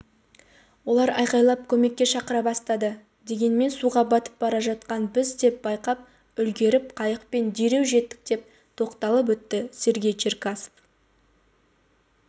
олар айқайлап көмекке шақыра бастады дегенмен суға батып бара жатқанынбіз де байқап үлгеріп қайықпен дереу жеттік деп тоқталып өтті сергей черкасов